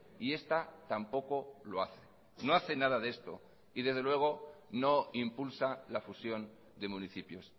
y esta tampoco lo hace no hace nada de esto y desde luego no impulsa la fusión de municipios